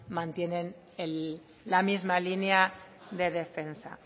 mantienen la misma línea de defensa